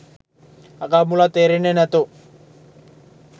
අගක් මුලක් තේරෙන්නෙ නැතෝ